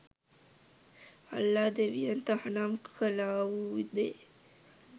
අල්ලා ‍දෙවියන් තහනම් කළාවු දේ